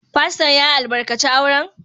Fasto'n ya albarkace auren?